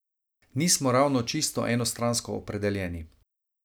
Nismo ravno čisto enostransko opredeljeni.